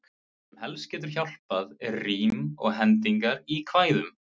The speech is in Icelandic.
Það sem helst getur hjálpað er rím og hendingar í kvæðum.